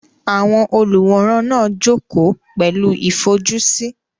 Àwọn olùwòran náà jókòó pẹ̀lú ìfojúsí.